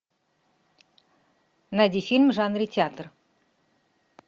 найди фильм в жанре театр